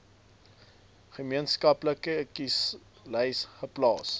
gemeenskaplike kieserslys geplaas